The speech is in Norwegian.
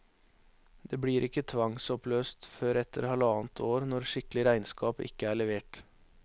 Det blir ikke tvangsoppløst før etter halvannet år når skikkelig regnskap ikke er levert.